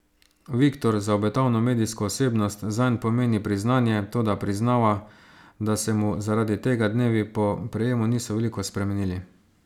Viktor za obetavno medijsko osebnost zanj pomeni priznanje, toda priznava, da se mu zaradi tega dnevi po prejemu niso veliko spremenili.